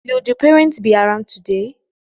Will the parents be around today?